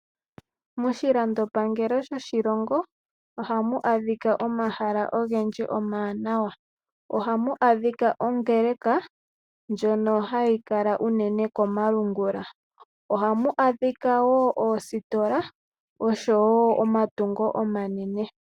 Moshilando pangelo shoshi longo ohamu adhika omahala ogendji omawanawa, ohamu adhika ongeleka ndjono hayi kala unene komalungula, ohamu adhika noositola nomatungo omanene.